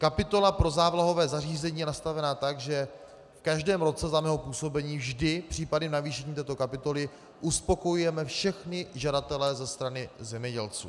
Kapitola pro závlahové zařízení je nastavena tak, že v každém roce za mého působení vždy případy navýšení této kapitoly uspokojujeme všechny žadatele ze strany zemědělců.